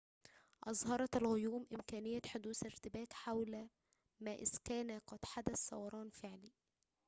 أظهرت الغيوم إمكانية حدوث ارتباك حول ما إذا كان قد حدث ثوران فعلي